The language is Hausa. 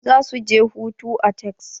Za su je hutu a Texas.